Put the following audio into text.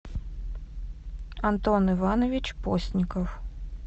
антон иванович постников